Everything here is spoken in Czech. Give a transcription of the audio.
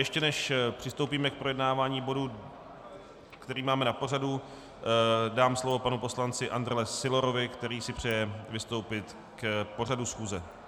Ještě než přistoupíme k projednávání bodu, který máme na pořadu, dám slovo panu poslanci Andrle Sylorovi, který si přeje vystoupit k pořadu schůze.